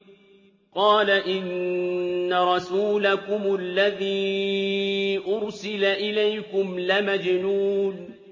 قَالَ إِنَّ رَسُولَكُمُ الَّذِي أُرْسِلَ إِلَيْكُمْ لَمَجْنُونٌ